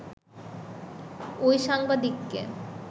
ওই সাংবাদিককে